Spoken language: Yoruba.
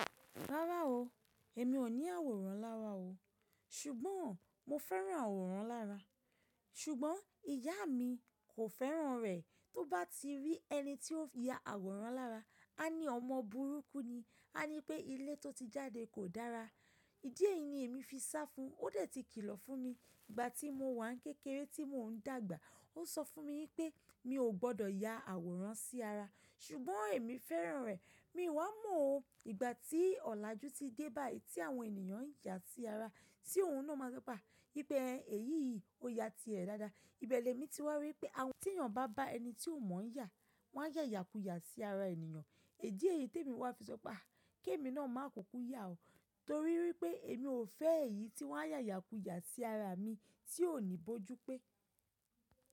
Rárá o, èmi ò ní àwòrán lára o. Ṣùgbọ́n mo fẹ́ràn àwòrán lára. Ṣùgbọ́n ìyá mi kò fẹ́ràn rẹ̀. Tó bá ti rí ẹni tí ó ya àwòrán lára, a ní ọmọ burúkú ni, a ní pé ilé tó ti jáde kò dára. Idí èyí ni èmi fi sá fún un. Ó dẹ̀ ti kìlọ̀ fún mi. Ìgbà tí mo wà n kékeré tí mò ń dàgbà, ó sọ fún mi wípé mi ò gbọdọ̀ ya àwòrán sí ara. Ṣùgbọ́n èmi fẹ́ràn rẹ̀. Mi wà mó o, ìgbà tí ọ̀làjú ti dé báàyí tí àwọn ènìyàn ń ya sí ara, tí òun náà máa sọ pé a, wìpẹ́ eh èyí yìí ó ya tirẹ̀ dáadáa. Ìbẹ̀ lẹ̀mi ti wà ri wipé, tí ènìyàn bá bá ẹni tí ò mọ̀ ń yà, wọ́n á yàyàkuyà sí ara ènìyàn. Idí èyí t'èmi wà fi sọ pé a!, kí èmi náà máa kukú yà o. Torí wipé èmi ò fẹ́ èyí tí wọ́n á yàyàkuyà sí ara mi tí ò ní bójú pé.